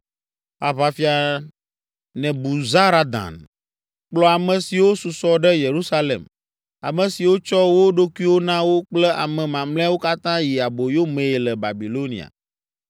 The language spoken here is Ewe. Aʋafia Nebuzaradan kplɔ ame siwo susɔ ɖe Yerusalem, ame siwo tsɔ wo ɖokuiwo na wo kple ame mamlɛawo katã yi aboyo mee le Babilonia.